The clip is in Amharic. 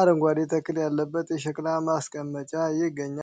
አረንጓዴ ተክል ያለበት የሸክላ ማስቀመጫ ይገኛል።